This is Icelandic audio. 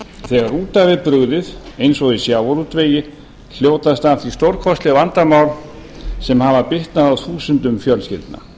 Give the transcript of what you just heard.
þegar út af er brugðið eins og í sjávarútvegi hljótast af því stórkostleg vandamál sem hafa bitnað á þúsundum fjölskyldna